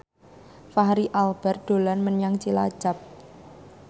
Fachri Albar dolan menyang Cilacap